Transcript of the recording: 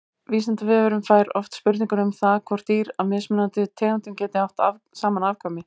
Vísindavefurinn fær oft spurningar um það hvort dýr af mismunandi tegundum geti átt saman afkvæmi.